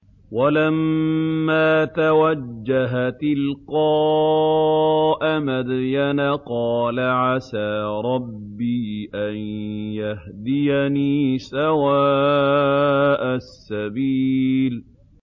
وَلَمَّا تَوَجَّهَ تِلْقَاءَ مَدْيَنَ قَالَ عَسَىٰ رَبِّي أَن يَهْدِيَنِي سَوَاءَ السَّبِيلِ